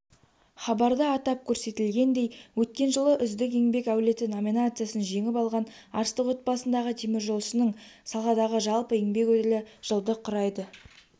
хабарда атап көрсетілгендей өткен жылы үздік еңбек әулеті номинациясын жеңіп алған арыстық отбасындағы теміржолшының саладағы жалпы еңбек өтілі жылды құрайды